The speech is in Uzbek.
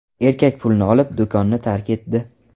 Erkak pulni olib, do‘konni tark etdi.